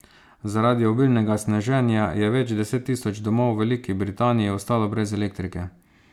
Zaradi obilnega sneženja je več deset tisoč domov v Veliki Britaniji ostalo brez elektrike.